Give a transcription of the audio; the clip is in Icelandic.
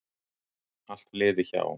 Allt liði hjá.